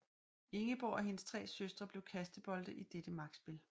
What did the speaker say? Ingeborg og hendes tre søstre blev kastebolde i dette magtspil